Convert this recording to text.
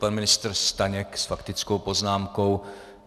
Pan ministr Staněk s faktickou poznámkou.